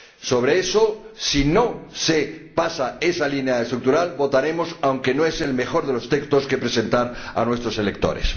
Sobre eso, si no se pasa esa línea estructural, votaremos, aunque no es el mejor de los textos que presentar a nuestros electores.